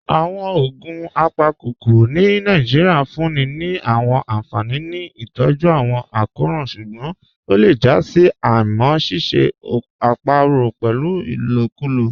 Awọn ogun apakokoro ni Nàìjíríà n fún ni ni awọn anfani ni itọju awọn akọran ṣugbọn o le jà sí àímá ṣíṣẹ̀ àpòrò pẹ́lu ilòkùlò.